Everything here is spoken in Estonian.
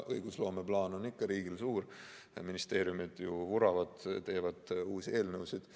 Õigusloomeplaan on ikka riigil suur, ministeeriumid ju vuravad, teevad uusi eelnõusid.